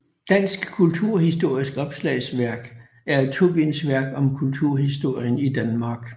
Dansk kulturhistorisk Opslagsværk er et tobindsværk om kulturhistorien i Danmark